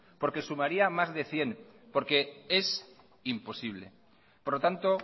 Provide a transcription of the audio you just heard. porque sumaría más de cien porque es imposible por lo tanto